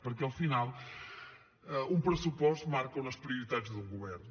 perquè al final un pressupost marca unes prioritats d’un govern